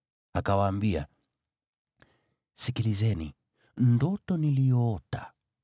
Akawaambia, “Sikilizeni ndoto niliyoota: